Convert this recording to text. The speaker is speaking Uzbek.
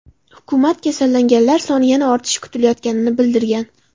Hukumat kasallanganlar soni yana ortishi kutilayotganini bildirgan .